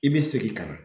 I bɛ segin ka na